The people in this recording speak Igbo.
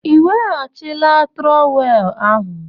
Ị weghachila trowel ahụ?